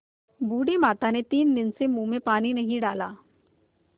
बूढ़ी माता ने तीन दिन से मुँह में पानी नहीं डाला